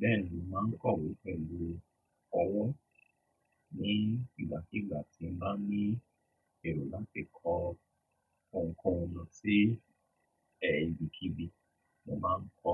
Bẹ́ẹ̀ni, mo máa ń kọ̀wé pẹ̀lú ọwọ́ ní ìgbàakiìgbà tí n bá ní ẹ̀ro láti kọ ohunkóhun lọ sí ẹ ibikíbi, mo máa ń kọ